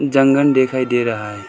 जंगल दिखाई दे रहा है।